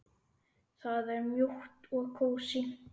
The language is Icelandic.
Það er mjúkt og kósí.